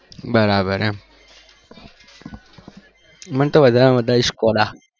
બરાબર એમ મને તો વધારે માં વધારે skoda